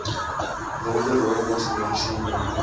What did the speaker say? wilde rooibos medisinale